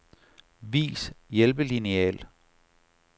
Vis hjælpelineal.